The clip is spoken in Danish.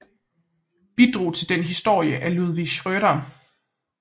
Bidrag til dens historie af Ludvig Schrøder